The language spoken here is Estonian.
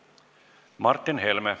Martin Helme.